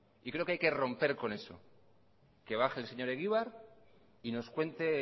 y creo que hay que romper con eso que baje el señor egibar y nos cuente